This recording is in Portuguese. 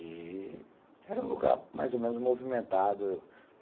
E era um lugar mais ou menos movimentado.